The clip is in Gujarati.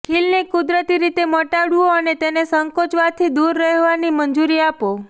ખીલને કુદરતી રીતે મટાડવું અને તેને સંકોચવાથી દૂર રહેવાની મંજૂરી આપો